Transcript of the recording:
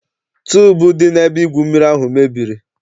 Tuubu dị n'ebe igwu mmiri ahụ mebiri.